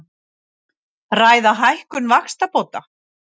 Ræða hækkun vaxtabóta